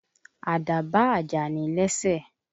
Àdá ba àjàní lẹ́sẹ̀.